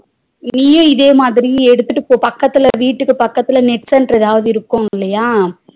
நீயும் இதேமாதிரி எடுத்துட்டு போ பக்கதுல வீட்டுக்கு பக்கத்துல net center ஏதாவாது இருக்கும் இல்லையா